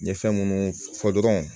N ye fɛn munnu fɔ dɔrɔn